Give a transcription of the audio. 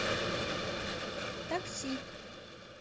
такси